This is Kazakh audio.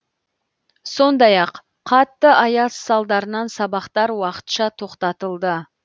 сондай ақ қатты аяз салдарынан сабақтар уақытша тоқтатылды